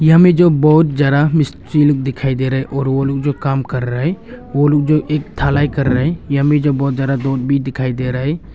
यहाँ मे जो बहोत जरा मिस्त्री लोग दिखाई दे रहे है और ओ लोग जो काम कर रहा है ओ लोग जो एक थलाई कर रहा है। या में बहोत जयादा लोग भि दिखाई दे रहा है।